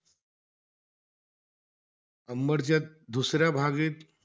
अंबडच्या दुसऱ्या भागीत,